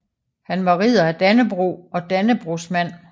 Han var Ridder af Dannebrog og Dannebrogsmand